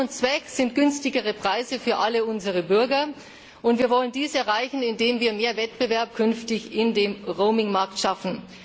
Sinn und Zweck sind günstigere Preise für alle unsere Bürger. Wir wollen dies erreichen, indem wir künftig mehr Wettbewerb im Roaming Markt schaffen.